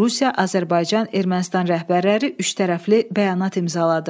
Rusiya, Azərbaycan, Ermənistan rəhbərləri üçtərəfli bəyanat imzaladı.